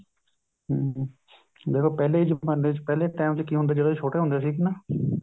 ਹਮ ਜਦੋਂ ਪਹਿਲੇ ਜਮਾਨੇ ਚ ਪਹਿਲੇ time ਚ ਕੀ ਹੁੰਦਾ ਸੀ ਜਦੋਂ ਅਸੀਂ ਛੋਟੇ ਹੁੰਦੇ ਸੀਗਏ ਨਾ